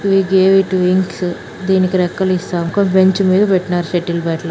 We gave it wings దీనికి రెక్కలు ఇస్తాం. ఒక బెంచ్ మీద పెట్టినారు షటిల్ బ్యాట్ లు--